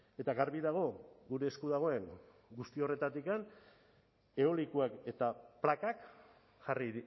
eta garbi dago gure esku dagoen guzti horretatik eolikoak eta plakak jarri